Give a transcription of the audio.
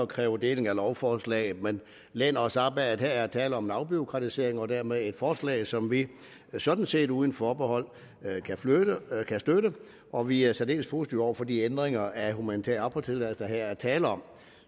kræver deling af lovforslaget men læner os op ad at der her er tale om en afbureaukratisering og dermed et forslag som vi sådan set uden forbehold kan støtte og vi er særdeles positive over for de ændringer af humanitær opholdstilladelse der her er tale om